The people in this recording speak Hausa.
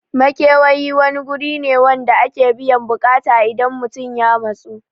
Makewayi wani guri ne wanda ake biyan buƙata idan mutun ya matsu